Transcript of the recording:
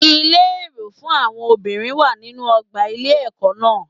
Ilé èrò fún àwọn obìnrin wà nínú ọgbà ilé ẹkọ náà.